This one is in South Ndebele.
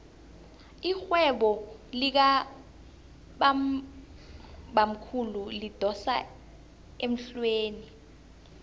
irhwebo likabamkhulu lidosa emhlweni